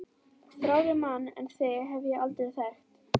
Þrárri mann en þig hef ég aldrei þekkt!